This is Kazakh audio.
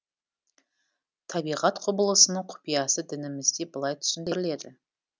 табиғат құбылысының құпиясы дінімізде былай түсіндіріледі